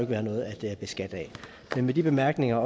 være noget at beskatte af med de bemærkninger